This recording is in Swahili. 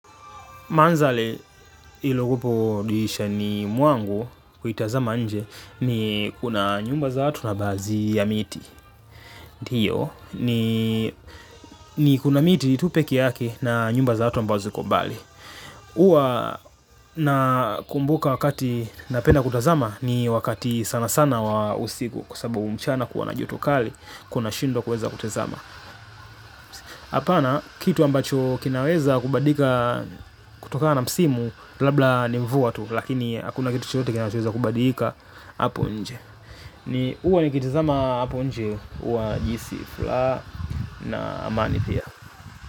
Mandhari iliopo dirishani mwangu kuitazama nje ni kuna nyumba za watu na baadhi ya miti. Ndiyo ni kuna miti tu peke yake na nyumba za watu ambazo ziko mbali. Huwa nakumbuka wakati napenda kutazama ni wakati sanasana wa usiku kwa sababu mchana kuwa na joto kali kuna shindwa kuweza kutazama. Apana kitu ambacho kinaweza kubadika kutoka na msimu labda ni mvua tu. Lakini hakuna kitu chochote kinaweza kubadika hapo nje. Ni huwa nikitizama hapo nje huwa najihisi furaha na amani pia.